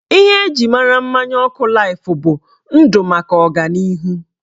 Ihe eji mara mmanya ọkụ laif bụ "Ndụ maka ọganihu"